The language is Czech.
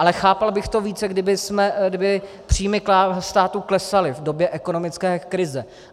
Ale chápal bych to více, kdyby příjmy státu klesaly v době ekonomické krize.